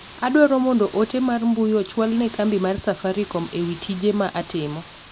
Adwao mondo ote mar mbui ochwal ne kambi mar safaricom ewi tije ma atimo.